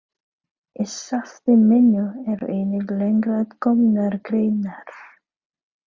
Í safni mínu eru einnig lengra að komnar greinar.